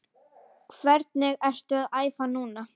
Hvernig ertu að æfa núna?